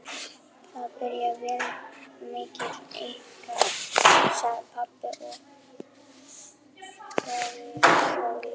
Þetta byrjar vel milli ykkar, sagði pabbi og skellihló.